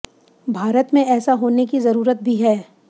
भारत में ऐसा होने की जरुरत भी है